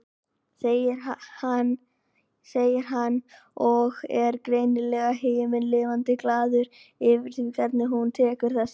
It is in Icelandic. segir hann og er greinilega himinlifandi glaður yfir því hvernig hún tekur þessu.